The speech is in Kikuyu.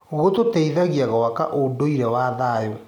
Gĩtũteithagia gwaka ũndũire wa thayũ.